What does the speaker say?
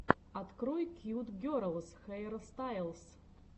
открой кьют герлс хейрстайлс